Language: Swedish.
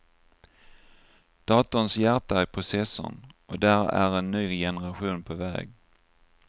Datorns hjärta är processorn, och där är en ny generation på väg.